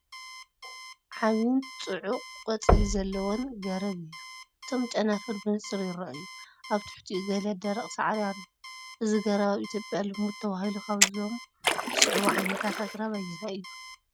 ዓቢን ጽዑቕ ቆጽሊ ዘለዎን ገረብ እዩ። እቶም ጨናፍር ብንጹር ይረኣዩ። ኣብ ትሕቲኡ ገለ ደረቕ ሳዕሪ ኣሎ። እዚ ገረብ ኣብ ኢትዮጵያ ልሙድ ተባሂሉ ካብዞም ዝስዕቡ ዓይነታት ኣግራብ ኣየናይ እዩ?